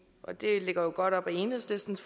og det ligger jo godt op ad enhedslistens